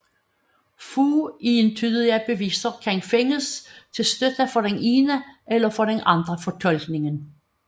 Få entydige beviser kan findes til støtte for den ene eller den anden fortolkning